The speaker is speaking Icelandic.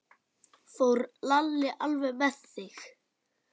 Fór Lalli alveg með þig?